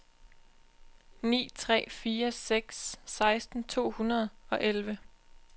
ni tre fire seks seksten to hundrede og elleve